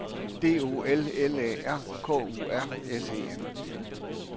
D O L L A R K U R S E N